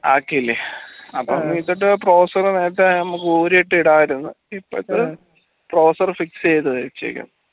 ആകീലെ അപ്പം ഇപ്പത്തെ browser നേരത്തെ നമ്മക്ക് ഊരി ഇട്ടു ഇടയരുന്നു ഇപ്പത്തെ browser fix ചെയ്യാ ചെയ്യാ